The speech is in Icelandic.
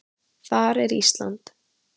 Þar er Ísland.